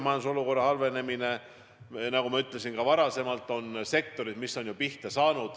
Nagu ma juba ütlesin, on sektorid, mis on juba pihta saanud.